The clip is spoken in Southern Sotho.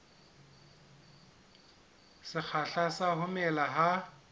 sekgahla sa ho mela ha